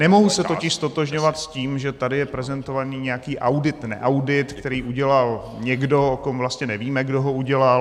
Nemohu se totiž ztotožňovat s tím, že tady je prezentován nějaký audit-neaudit, který udělal někdo, o kom vlastně nevíme, kdo ho udělal.